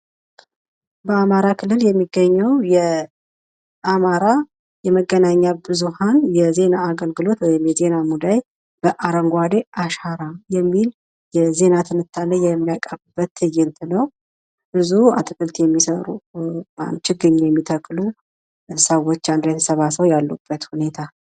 በአማራ ክልል የሚገኘው የአማራ የመገናኛ ብዙሃን የዜና አገልግሎት ወይም የዜና ሙዳይ በአረንጓዴ አሻራ የሚል የዜና ትንታኔ የሚያቀርብበት ትዕይንት ነው። በዙ አትክልት የሚሰሩ ችግኝ የሚተክሉ ሰዎች አንድ ላይ ተሰባስበው ያሉበት ሁኔታ።